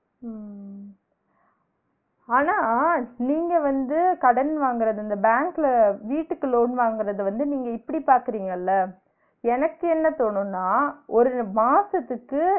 அஹ் அஹ் ஆனா நீங்க வந்து கடன் வாங்குறது இந்த பேங்க்ல வீட்டுக்கு loan வாங்குறத வந்து நீங்க இப்டி பாக்கிறிங்கள, எனக்கு என்ன தோனும்னா ஒரு மாசத்துக்கு